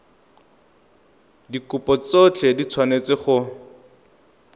dikopo tsotlhe di tshwanetse go